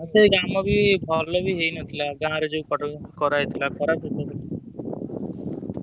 ସେଇ କାମ ବି ଭଲ ବି ହେଇ ନଥିଲା ଗାଁ ରେ ଯଉ କରାହେଇଥିଲା